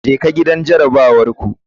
Jeka gidan jarabawar ku.